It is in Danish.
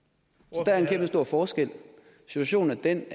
så der er en kæmpestor forskel situationen er den